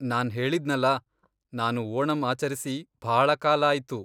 ನಾನ್ ಹೇಳಿದ್ನಲ್ಲ, ನಾನು ಓಣಂ ಆಚರಿಸಿ ಭಾಳ ಕಾಲ ಆಯ್ತು.